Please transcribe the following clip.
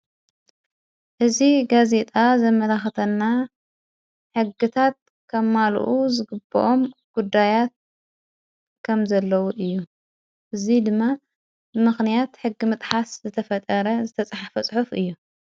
እዝ ጋዜጣ ዘመላኽተና ሕግታት ከ ማሉኡ ዝግብኦም ጕዳያት ከም ዘለዉ እዩ እዙይ ድማ ምኽንያት ሕጊ ምጥሓስ ዘተፈጠረ ዘተጽሓፈ ጽሑፍ እዩ።